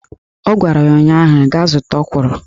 Ọ gwara ya ụnyaahụ "Gaa zụta ọkwụrụ!"